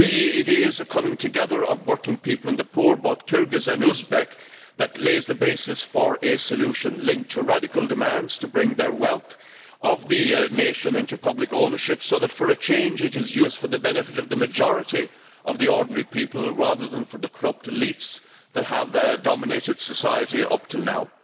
It is the coming together of working people and the poor both Kyrgyz and Uzbek that lays the basis for a solution, linked to radical demands to bring the wealth of the nation into public ownership so that it is utilised, for a change, for the benefit of the majority of the ordinary people, rather than for the corrupt elites that have dominated society up until now.